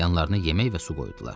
Yanlarına yemək və su qoydular.